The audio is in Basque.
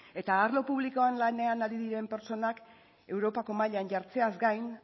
eta arlo publikoan lanean ari diren pertsonak europako mailan jartzeaz gain